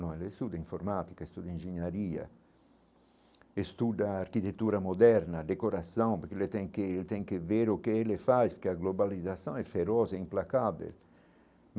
Não, eles estudam informática, estudam engenharia, estudam arquitetura moderna, decoração, porque eles têm que eles têm que ver o que eles faz, porque a globalização é feroz é implacável.